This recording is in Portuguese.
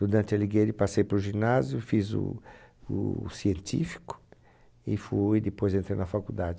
Do Dante Alighieri passei para o ginásio, fiz o o científico e fui depois entrei na faculdade.